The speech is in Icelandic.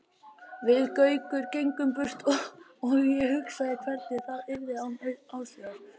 Við Gaukur gengum burt og ég hugsaði hvernig það yrði án Áslaugar.